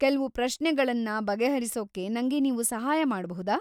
ಕೆಲ್ವು ಪ್ರಶ್ನೆಗಳನ್ನ ಬಗೆಹರಿಸೂಕ್ಕೆ ನಂಗೆ ನೀವು ಸಹಾಯ ಮಾಡ್ಬಹುದಾ?